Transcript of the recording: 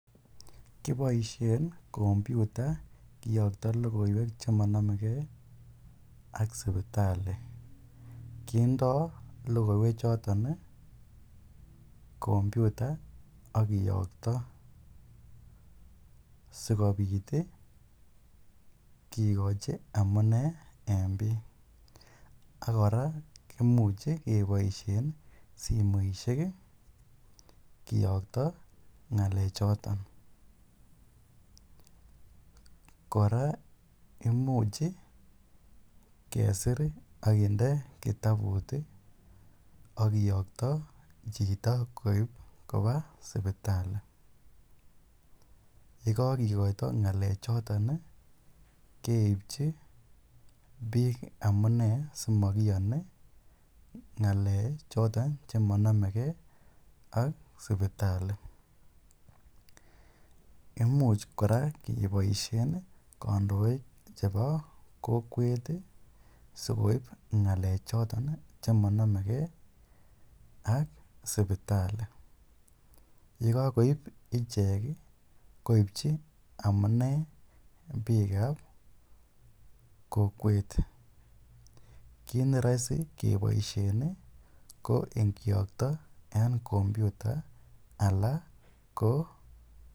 Kiboishen kopyuta kiyokto lokoiwek chemonomeke ak sipitali, kindo lokoiwe choton kompyuta ak kiyokto sikobit kikochi amune en biik ak kora kimuche keboishen simoishek kiyokto ngale choton, kora imuch kesir ak kinde kitabut ak kiyokto chito koib kobaa sipitali, yekakikoito ngalechoton keibchi biik amunee simokiyoni ngalek choton chemonomeke ak sipitali, imuch kora keboishen kondoik chebo kokwet sikoib ngalechoton chemonomeke ak sipitali, yekokoib ichek koibchi amune biikab kokwet, kiit neroisi keboishen ko ingiyokto en kompyuta alaa ko.